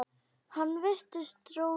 Hann virti Rósu fyrir sér.